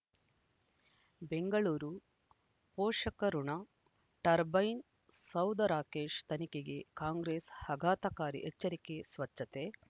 ಬೆಂಗಳೂರು ಪೋಷಕಋಣ ಟರ್ಬೈನು ಸೌಧ ರಾಕೇಶ್ ತನಿಖೆಗೆ ಕಾಂಗ್ರೆಸ್ ಆಘಾತಕಾರಿ ಎಚ್ಚರಿಕೆ ಸ್ವಚ್ಛತೆ